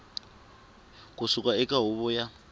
ku suka eka huvo ya